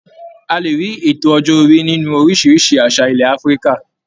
A lè rí Ètò ọjọ́ orí nínú oríṣiríṣi àṣà ilẹ̀ Áfíríkà